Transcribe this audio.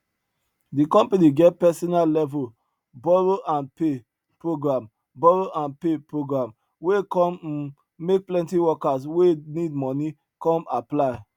the company get personal level borrow and pay program borrow and pay program wey come um make plenty workers wey need money come apply